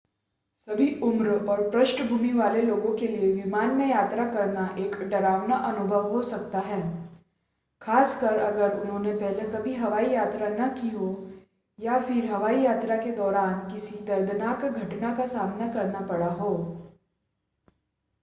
सभी उम्र और पृष्ठभूमि वाले लोगों के लिए विमान में यात्रा करना एक डरावना अनुभव हो सकता है खास कर अगर उन्होंने पहले कभी हवाई यात्रा न की हो या फिर हवाई यात्रा के दौरान किसी दर्दनाक घटना का सामना करना पड़ा हो